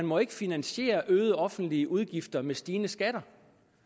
må finansiere øgede offentlige udgifter med stigende skatter